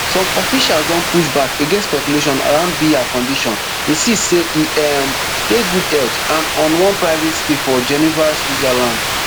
some officials don push back against speculation around biya condition insist say e um dey good health and on one private stay for geneva switzerland